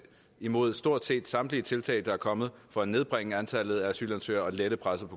imod stort set samtlige tiltag der er kommet for at nedbringe antallet af asylansøgere og lette presset